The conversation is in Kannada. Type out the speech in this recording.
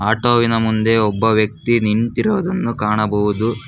ಆಟೋ ವಿನ ಮುಂದೆ ಒಬ್ಬ ವ್ಯಕ್ತಿ ನಿಂತಿರುವುದು ಕಾಣಬಹುದು.